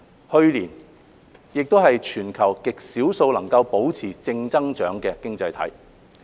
去年內地亦是全球極少數能保持正增長的經濟體。